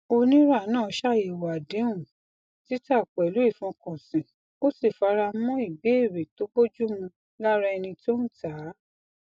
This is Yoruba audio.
oníra náà ṣàyẹwò àdéhùn títà pẹlú ìfọkànsìn ó sì fara mọ ìbéèrè tó bojúmu lára ẹni tó ń tàá